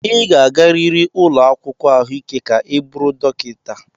Ị ga-agarịrị ụlọ akwụkwọ ahụike ka ị bụrụ dọkịta.